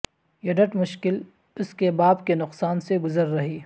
یڈت مشکل اس کے باپ کے نقصان سے گزر رہی